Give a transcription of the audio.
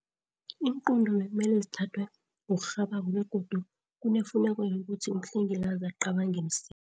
Iinqunto bekumele zithathwe ngokurhabako begodu kunefuneko yokuthi umhlengikazi acabange msinya.